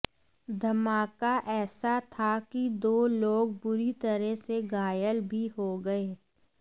धमाका ऐसा था कि दो लोग बुरी तरह से घायल भी हो गए